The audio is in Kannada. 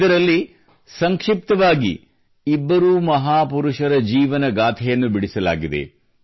ಇದರಲ್ಲಿ ಇಬ್ಬರೂ ಮಹಾಪುರುಷರ ಜೀವನಗಾಥೆಯನ್ನು ಸಂಕ್ಷಿಪ್ತವಾಗಿ ಬಿಡಿಸಲಾಗಿದೆ